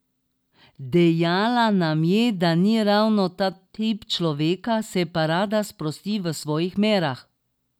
Dejala nam je, da ni ravno ta tip človeka, se pa rada sprosti v svojih merah.